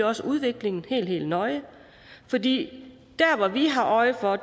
også udviklingen helt helt nøje fordi det vi har øje for